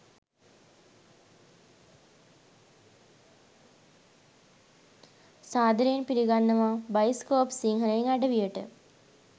සාදරයෙන් පිළිගන්නවා බයිස්කෝප් සිංහලෙන් අඩවියට.